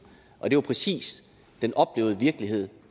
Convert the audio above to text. og jo præcis den oplevede virkelighed